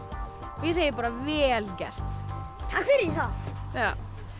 ég segi bara vel gert takk fyrir